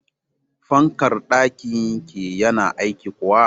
Fankar ɗakin ki yana aiki kuwa?